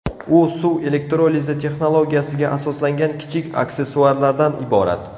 U suv elektrolizi texnologiyasiga asoslangan kichik aksessuarlardan iborat.